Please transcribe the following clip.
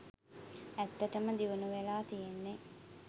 ඇත්තටම දියුනු වෙලා තියෙන්නේ